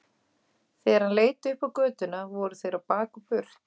Þegar hann leit upp á götuna voru þeir á bak og burt.